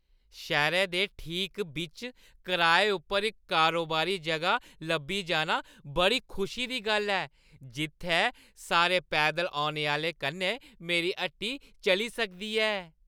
शैह्‌रै दे ठीक बिच्च कराए उप्पर इक कारोबारी जगह लब्भी जाना बड़ी खुशी दी गल्ल ऐ, जित्थै सारे पैदल औने आह्‌लें कन्नै मेरी हट्टी चली सकदी ऐ।